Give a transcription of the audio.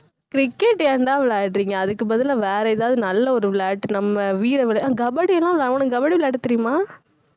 cricket ஏன்டா விளையாடறீங்க அதுக்கு பதிலா வேற எதாவது நல்ல ஒரு விளையாட்டு நம்ம வீர விளை~ அஹ் கபடிலாம் விளை~ உனக்கு கபடி விளையாடத் தெரியுமா